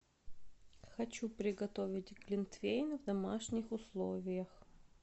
хочу приготовить глинтвейн в домашних условиях